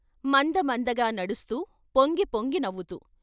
మంద మందగా నడస్తూ, పొంగి పొంగి నవ్వుతూ....